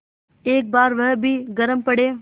एक बार वह भी गरम पड़े